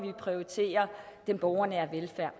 vi prioriterer den borgernære velfærd